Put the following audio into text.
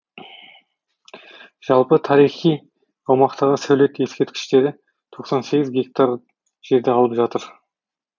жалпы тарихи аумақтағы сәулет ескертіштері тоқсан сегіз гектар жерді алып жатыр